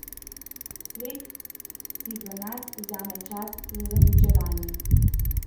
Svet si v nas vzame čas za zaključevanje.